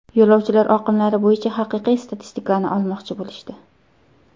Yo‘lovchilar oqimlari bo‘yicha haqiqiy statistikani olmoqchi bo‘lishdi.